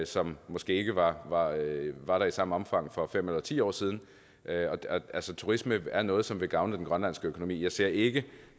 som måske ikke var var der i samme omfang for fem eller ti år siden turisme er noget som vil gavne den grønlandske økonomi jeg ser det ikke